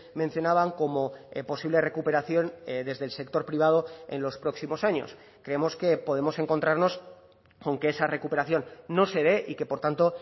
mencionaban como posible recuperación desde el sector privado en los próximos años creemos que podemos encontrarnos con que esa recuperación no se dé y que por tanto